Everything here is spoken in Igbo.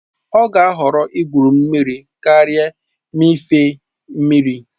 Ọ ga-ahọrọ igwu mmiri karịa mmịfe mmiri